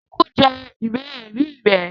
Eku jẹ ìwé ẹ̀rí rẹ̀